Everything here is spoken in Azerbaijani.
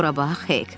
Bura bax, Hek.